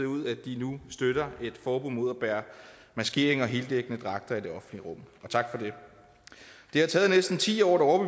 ud at de nu støttede et forbud mod at bære maskering og heldækkende dragter i det offentlige rum og tak for det det har taget næsten ti år